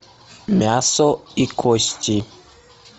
мясо и кости